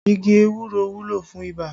Igi ewúro wúlò fún ibà